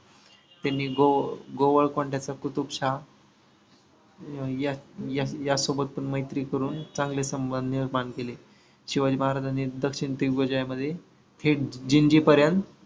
त्यांनी गोवळ कोंड्याचा कुतुबशहा या या सोबत पण मैत्री करून चांगले संबंध निर्माण केले. शिवाजी महाराजांनी दक्षिण दिग्विजयामध्ये थेट जिंजीपर्यंत